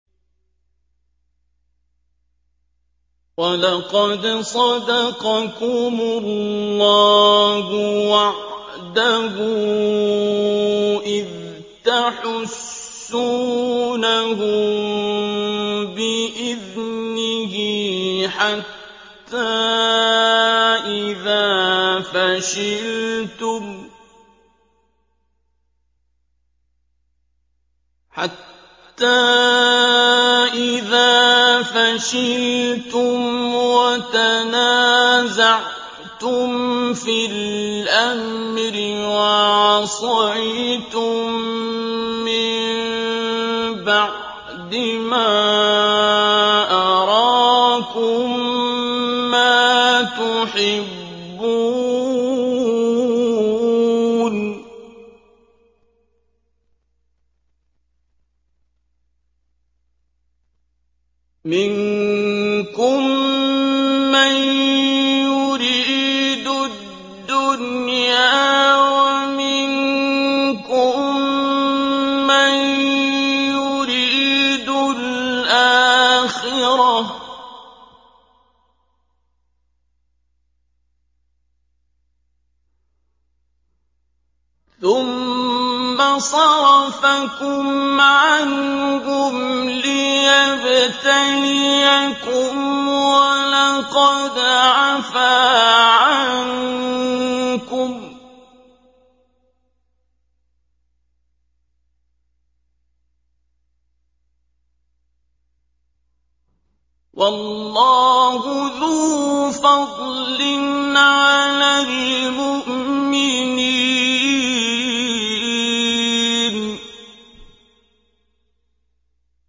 وَلَقَدْ صَدَقَكُمُ اللَّهُ وَعْدَهُ إِذْ تَحُسُّونَهُم بِإِذْنِهِ ۖ حَتَّىٰ إِذَا فَشِلْتُمْ وَتَنَازَعْتُمْ فِي الْأَمْرِ وَعَصَيْتُم مِّن بَعْدِ مَا أَرَاكُم مَّا تُحِبُّونَ ۚ مِنكُم مَّن يُرِيدُ الدُّنْيَا وَمِنكُم مَّن يُرِيدُ الْآخِرَةَ ۚ ثُمَّ صَرَفَكُمْ عَنْهُمْ لِيَبْتَلِيَكُمْ ۖ وَلَقَدْ عَفَا عَنكُمْ ۗ وَاللَّهُ ذُو فَضْلٍ عَلَى الْمُؤْمِنِينَ